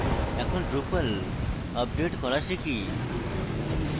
এখন drupal update করা শিখি